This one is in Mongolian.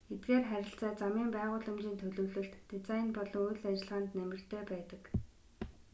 эдгээр харилцаа замын байгууламжийн төлөвлөлт дизайн болон үйл ажиллагаанд нэмэртэй байдаг